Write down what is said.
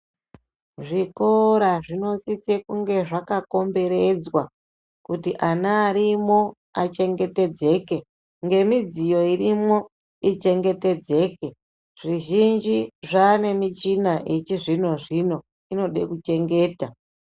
Zvikora zvinosise kunge zvakakomberedzwa kuti ana arimwo achengetedzeke ngemidziyo irimwo ichengetedzeke zvizhinji zvane michina yechizvino zvino inode kuchengeta.